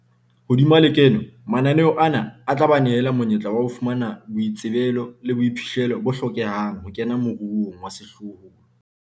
Hodima lekeno, mananeo ana a tla ba nehela monyetla wa ho fumana boitsebelo le boiphihlelo bo hlokehang ho kena moruong wa sehlohlolo.